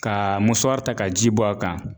Ka ta ka ji bɔ a kan.